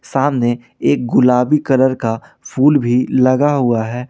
सामने एक गुलाबी कलर का फूल भी लगा हुआ है।